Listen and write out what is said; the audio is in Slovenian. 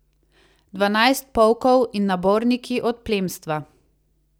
Dvanajst polkov in naborniki od plemstva.